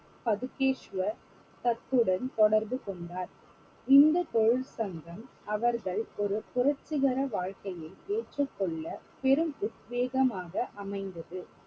பதுகேஷ்வர் அத்துடன் தொடர்பு கொண்டார் இந்தத் தொழில் சங்கம் அவர்கள் ஒரு புரட்சிகர வாழ்க்கையை ஏற்றுக்கொள்ள பெரும் உத்வேகமாக அமைந்தது